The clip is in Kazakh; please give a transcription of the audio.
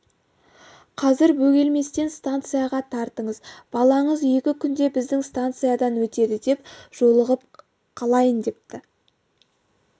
қазір бөгелместен станцияға тартыңыз балаңыз екі күнде біздің станциядан өтеді екен жолығып қалайын депті